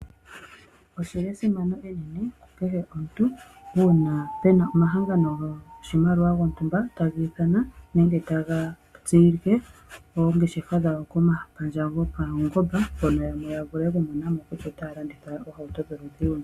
Oshi li esimano enene ku kehe omuntu uuna pe na omahangano goshimaliwa gontumba taga ithana nenge taga tsilike oongeshefa dhago komapandja gopaungomba hono yamwe ya vule okumona mo kutya otaya landitha oohauto dholudhi luni.